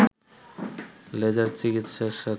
laser চিকিৎসার সাথে